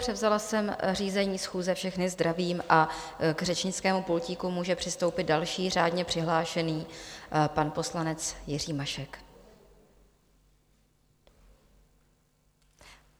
Převzala jsem řízení schůze, všechny zdravím a k řečnickému pultíku může přistoupit další řádně přihlášený pan poslanec, Jiří Mašek.